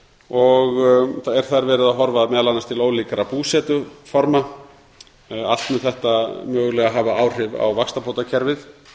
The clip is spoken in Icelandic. og er þar horft meðal annars til ólíkra búsetuforma allt mun þetta mögulega hafa áhrif á vaxtabótakerfið